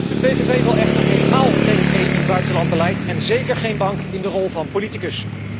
De PVV wil echter helemaal geen buitenlands beleid van de EU en zeker geen bank in de rol van politicus.